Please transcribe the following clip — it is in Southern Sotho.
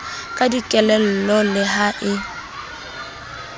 ka dikelello le ha e